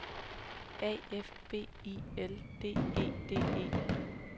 A F B I L D E D E